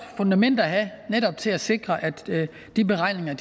fundament at have netop til at sikre at de beregninger